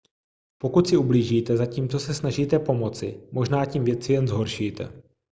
pokud si ublížíte zatímco se snažíte pomoci možná tím věci jen zhoršíte